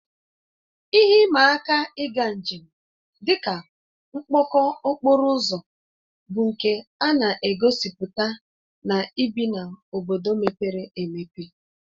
Ihe ịma aka ịga njem, dị ka mkpọkọ okporo ụzọ bụ nke a na-egosipụta na ibi n'obodo mepere emepe